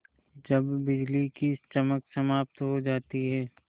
जब बिजली की चमक समाप्त हो जाती है